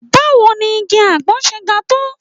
Báwo ni igi àgbọn ṣe ń ga tó?